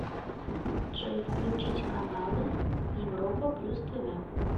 джой включить каналы европа плюс тв